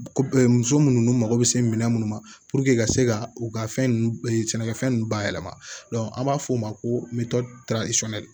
Ko muso munnu mago bɛ se minɛn munnu ma ka se ka u ka fɛn ninnu sɛnɛkɛfɛn ninnu bayɛlɛma an b'a fɔ o ma ko